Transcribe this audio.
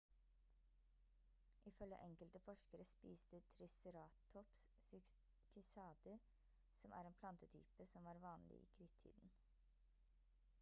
i følge enkelte forskere spiste triceratops cycader som er en plantetype som var vanlig i krittiden